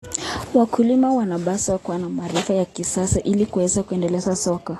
Wakulima wanapaswa kuwa na maarifa ya kisasa ili kuweza kuendana na soko.